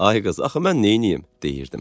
Ay qız, axı mən neyniyim, deyirdim.